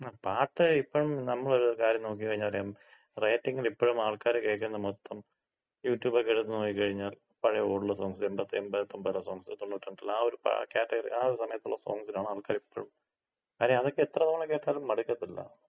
ങ്ങാ പാട്ട് ഇപ്പം നമ്മളൊര് കാര്യം നോക്കി ക്കഴിഞ്ഞാറിയാം റേറ്റിംഗില് എപ്പഴും ആൾകാര് കേൾക്കുന്ന മൊത്തം യൂട്യൂബോക്കെ എടുത്ത് നോക്കിക്കഴിഞ്ഞാല് പഴയ ഓൾഡ് സോങ്സ് .. 80 ..89-ലെ.. സോങ്സ് 92-ലെ ആ ഒര് ക്യാറ്റഗറിയില് ആ ഒര് സമയത്തുള്ള സോങ്സിനാണ് ആൾക്കാര് ഇപ്പഴും. കാര്യം അതൊക്കെ എത്ര തവണ കേട്ടാലും മടുക്കത്തില്ല.